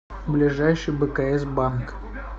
ближайший бкс банк